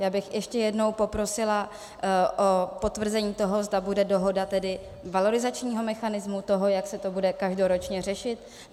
Já bych ještě jednou poprosila o potvrzení toho, zda bude dohoda tedy valorizačního mechanismu, toho, jak se to bude každoročně řešit.